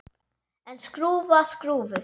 En skrúfa skrúfu?